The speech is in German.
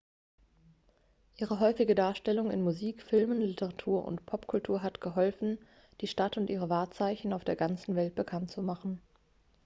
ihre häufige darstellung in musik filmen literatur und popkultur hat geholfen die stadt und ihre wahrzeichen auf der ganzen welt bekannt zu machen